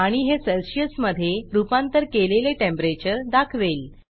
आणि हे सेल्सियस मधे रूपांतर केलेले टेंपरेचर दाखवेल